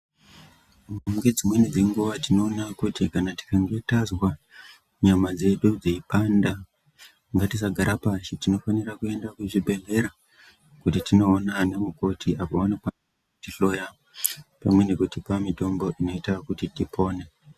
Mune dzimweni dzenguwa tinoona kuti kana tikange tazwa nyama dzedu dzeipanda ngatisagara pashi tinofanira kuenda kuzvibhedhlera kuti tinoona ana mukoti apovanonga vachihloya nekutipa mitombo inoita kuti tipone.